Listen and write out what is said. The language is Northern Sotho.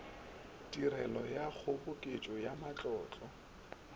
tirelo ya kgoboketšo ya matlotlo